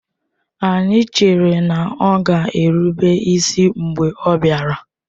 Anyị chere na ọ ga erụbe isi mgbe ọ bịara